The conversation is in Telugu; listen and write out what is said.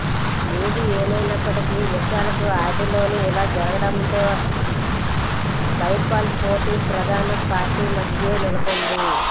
ఏది ఏమైనప్పటికీ విశాల్ కు ఆదిలోనే ఇలా జరగడంతో బైపోల్ పోటీ ప్రధాన పార్టీల మధ్యే నెలకొంది